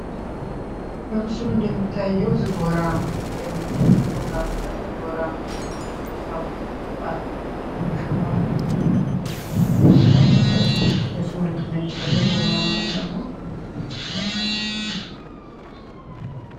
በምስሉ እንደሚታዬው ዝጎራ የሚል ፅሁፍ አለ። ዝጎራ የሚለው የመፅሀፉ ሽፋን የላይኛው ሽፋኑ የስግራ መፅሀፍ ሽፋኑ የሱ ምልክት ነው።